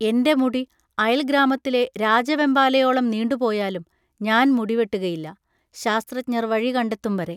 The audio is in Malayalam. എൻ്റെ മുടി അയൽഗ്രാമത്തിലെ രാജവെമ്പാലയോളം നീണ്ടുപോയാലും ഞാൻ മുടിവെട്ടുകയില്ല, ശാസ്ത്രജ്ഞർ വഴി കണ്ടെത്തും വരെ.